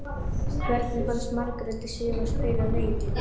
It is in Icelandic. Hvernig fannst Margréti Sif að spila leikinn?